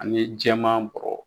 Ani jɛman bɔrɔ.